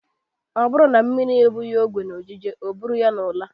Ọ bụrụ na mmiri ebughị okwe n'ojije o buru ya n'ụla.